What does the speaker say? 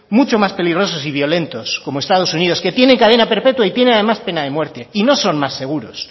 mucho más peligrosos y violentos como estados unidos que tiene cadena perpetua y tiene además pena de muerte y no son más seguros